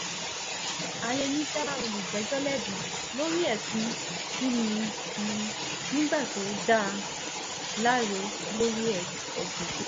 àyẹni dá olùjẹ́jọ́ lẹ́bi lórí ẹ̀sùn kìn-ín-ní nígbà tó dá a láre lórí ẹ̀sùn kejì